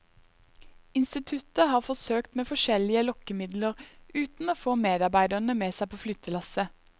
Instituttet har forsøkt med forskjellige lokkemidler, uten å få medarbeiderne med seg på flyttelasset.